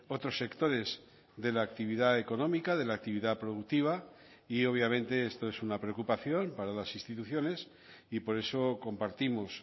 otros sectores de la actividad económica de la actividad productiva y obviamente esto es una preocupación para las instituciones y por eso compartimos